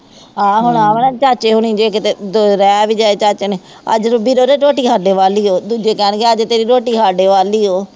ਹਾਂ ਹੁਣ ਹਾਂ ਵਾਲਾ ਚਾਚੇ ਹੁਣੀ ਜੇ ਕਿਤੇ ਜਾਏ ਚਾਚੇ ਨੇ ਆਹ ਜਦੋਂ ਵੀਰੋ ਦੇ ਦੂਜੇ ਕਹਿਣਗੇ ਅੱਜ ਤੇਰੀ ਰੋਟੀ ਸਾਡੇ ਵੱਲ ਹੋ,